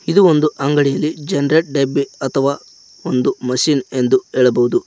ಇದು ಒಂದು ಅಂಗಡಿ ಇದೆ ಜನ್ರೇಟ್ ಡಿಬ್ಬಿ ಅಥವಾ ಒಂದು ಮಷಿನ್ ಎಂದು ಹೇಳಬಹುದು.